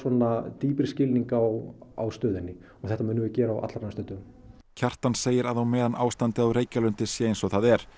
dýpri skilning á stöðunni og þetta munum við gera á allra næstu dögum Kjartan segir að á meðan ástandið á Reykjalundi sé eins og það er